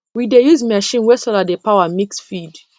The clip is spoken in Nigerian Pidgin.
we dey use machine wey solar dey power mix feed